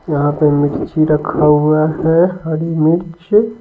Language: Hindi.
यहाँ पे मिर्ची रखा हुआ है हरी मिर्च।